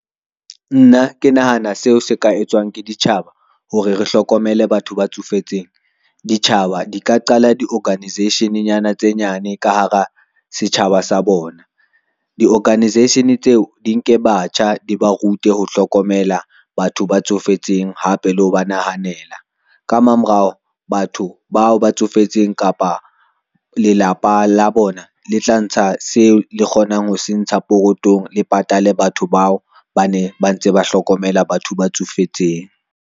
Nna ke nahana seo se ka etswang ke ditjhaba hore re hlokomele batho ba tsofetseng. Ditjhaba di ka qala di-organisation-nyana tse nyane ka hara setjhaba sa bona. Di-organisation tseo di nke batjha, di ba rute ho hlokomela batho ba tsofetseng hape le ho ba nahanela, ka mamorao batho bao ba tsofetseng kapa lelapa la bona le tla ntsha seo le kgonang ho se ntsha pokothong, le patale batho bao ba ne ba ntse ba hlokomela batho ba tsofetseng.